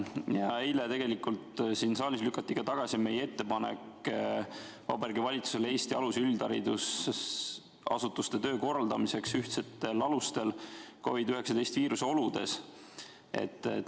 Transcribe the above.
Eile tegelikult siin saalis lükati tagasi meie ettepanek Vabariigi Valitsusele Eesti alus- ja üldharidusasutuste töö korraldamiseks ühtsetel alustel COVID-19 viiruse oludes.